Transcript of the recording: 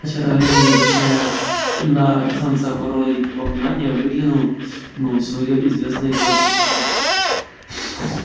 косач в это время не обращая на самца вороны никакого внимания выкликнул своё известное всем охотникам